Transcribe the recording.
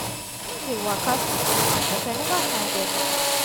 i just dey waka since morning but i never find any job